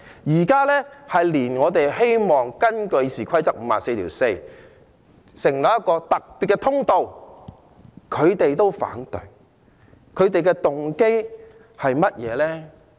現在連我們希望根據《議事規則》第544條，成立一個特別通道，他們也反對，他們的動機是甚麼？